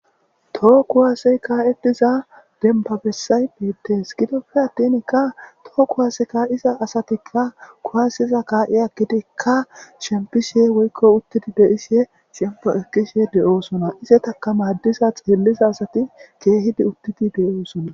too kuwaasey kaa7e diza dembabessay beettees gidoppe attinkka too kuwase ka7iza asatikka kuhasiza kaa7i akkidikka shempishe woykko uttidi beyise shempo ekkishe de7oosona izetaka maaddiza xeelliza asati keehidi uttidi deyoosona.